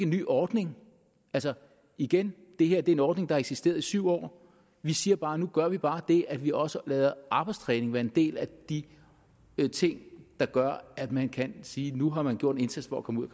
ny ordning altså igen det her er en ordning der har eksisteret i syv år vi siger bare nu gør vi bare det at vi også lader arbejdstræning være af en del af de ting der gør at man kan sige nu har man gjort en indsats for at komme ud